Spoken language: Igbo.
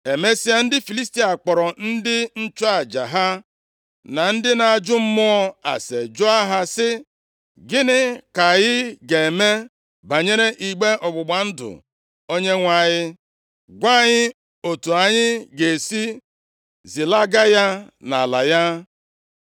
Emesịa, ndị Filistia kpọrọ ndị nchụaja ha na ndị na-ajụ mmụọ ase jụọ ha sị, “Gịnị ka anyị ga-eme banyere igbe ọgbụgba ndụ Onyenwe anyị? Gwa anyị otu anyị ga-esi zilaga ya nʼala ya.”